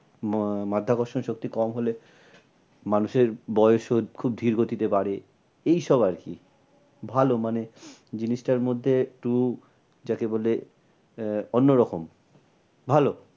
আহ মাধ্যাকর্ষণ শক্তি কম হলে মানুষের বয়স ও খুব ধীরে গতিতে বাড়ে। এই সব আর কি ভালো মানে জিনিসটার মধ্যে একটু যাকে বলে আহ অন্য রকম ভালো।